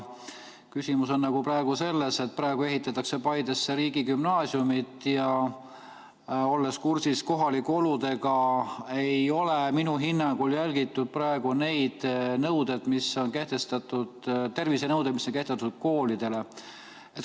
Küsimus on praegu selles, et Paidesse ehitatakse riigigümnaasiumit, ja olles kursis kohalike oludega, ei ole minu hinnangul järgitud koolidele kehtestatud tervisenõudeid.